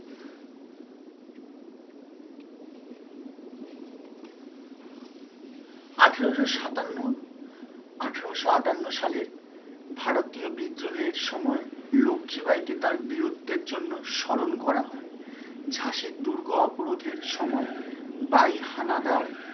আঠেরোশো সাতান্ন আঠেরোশো আটান্ন সালের ভারতীয় বিদ্রোহের সময় লক্ষি বাইকে তার বীরত্বের জন্য স্মরণ করা হয়ে ঝাঁসির দুর্গ অপরাধের সময় বাই হানাদার